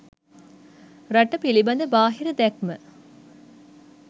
රට පිළිබඳ බාහිර දැක්ම